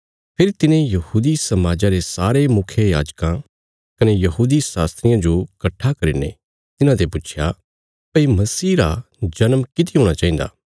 फेरी तिने यहूदी समाजा रे सारे मुखियायाजकां कने यहूदी शास्त्रियां जो कट्ठा करीने तिन्हाते पुच्छया भई मसीह रा जन्म किति हूणा चाहिन्दा